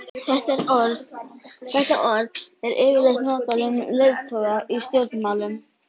Þetta orð er yfirleitt notað um leiðtoga í stjórnmálum.